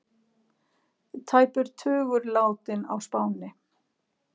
Tæpur tugur látinn á Spáni